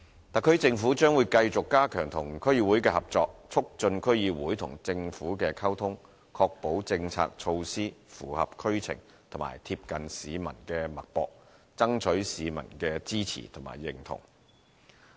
特區政府將會繼續加強與區議會的合作，促進區議會與政府的溝通，確保政策措施符合區情和貼近市民的脈搏，爭取市民的支持和認同。